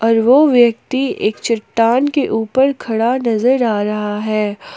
और वो व्यक्ति एक चट्टान के ऊपर खड़ा नजर आ रहा है।